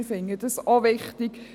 Wir finden diese auch wichtig;